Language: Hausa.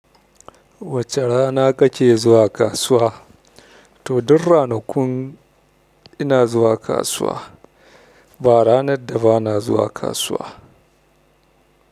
Wace rana kake zuwa kasuwa? To, duk ranakun ina zuwa kasuwa ba ranar da ba na zuwa kasuwa.